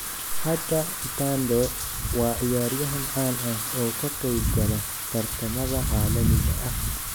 Hadda Ntando waa ciyaaryahan caan ah oo ka qayb gala tartamada caalamiga ah.